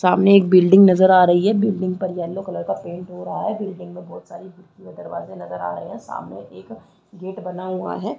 सामने एक बिल्डिंग नज़र आ रही है बिल्डिंग पर येल्लो कलर का पेंट हो रहा है बिल्डिंग में बहुत सारे खिड़की और दरवाजे नज़र आ रहा है सामने एक गेट बना हुआ है।